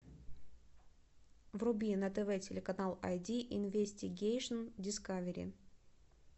вруби на тв телеканал ай ди инвестигейшн дискавери